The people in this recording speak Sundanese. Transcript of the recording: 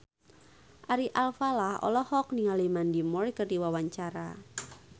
Ari Alfalah olohok ningali Mandy Moore keur diwawancara